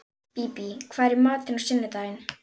Bíbí, hvað er í matinn á sunnudaginn?